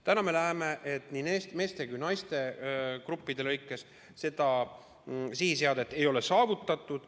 Praegu me näeme, et ei meeste ega naiste gruppides seda sihti ei ole saavutatud.